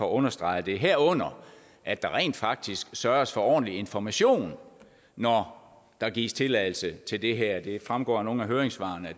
understreger det herunder at der rent faktisk sørges for ordentlig information når der gives tilladelse til det her det fremgår af nogle af høringssvarene